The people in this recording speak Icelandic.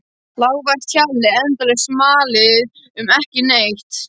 Lágvært hjalið, endalaust malið um ekki neitt.